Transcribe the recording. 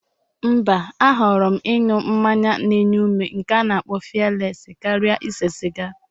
Mba, ahọrọ m ịnụ mmanya n'nye ume nke a na-akpo fiyeles karịa ise siga.